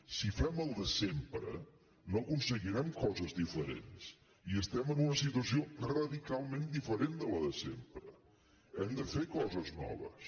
si fem el de sempre no aconseguirem coses diferents i estem en una situació radicalment diferent de la de sempre hem de fer coses noves